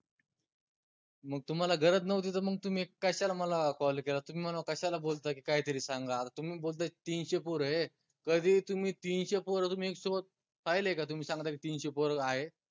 मग तुम्हाला गरज नव्हती त मंग तुम्ही कश्याला मला call केला तुम्ही मला कश्याला बोलता की, काहीतरी सांगा तुम्ही बोलताय तीनशे पोर ए कधी तुम्ही तीनशे पोर तुम्ही पहिले का तुम्ही सांगताय का तीनशे पोर आहे